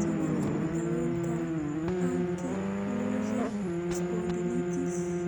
Sidee lagu daweyn karaa ankylosing spondylitis?